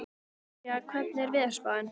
Dallilja, hvernig er veðurspáin?